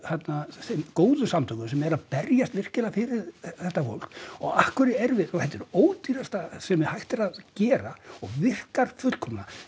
þeim góðu samtökum sem eru að berjast virkilega fyrir þetta fólk og af hverju erum við sko þetta er ódýrasta sem hægt er að gera og virkar fullkomlega